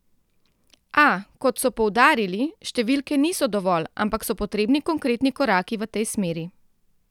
A, kot so poudarili, številke niso dovolj, ampak so potrebni konkretni koraki v tej smeri.